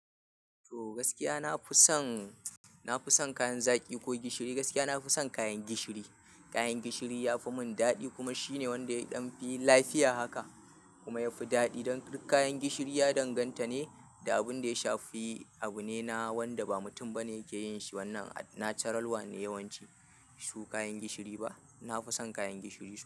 To gaskiya na fi son, na fi son kayan zaki ko gishiri. Gaskiya na fi son kayan gishiri. Kayan gishiri ya fi mun dadi kuma shine wanda ya ɗan fi lafiya haka kuma yafi dadi. Don duk kayan gishiri ya danganta ne da abun da ya shafi abu ne na wanda ba mutum ba ne yake yin shi. Wannan natural one ne yawanci, su kayan gishiri ba. Nafi san kayan gishiri.